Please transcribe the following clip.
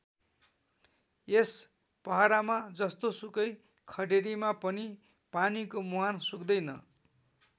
यस पहरामा जस्तोसुकै खडेरीमा पनि पानीको मुहान सुक्दैन्।